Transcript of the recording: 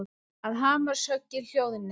Að hamarshöggin hljóðni.